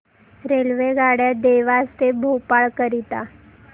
रेल्वेगाड्या देवास ते भोपाळ करीता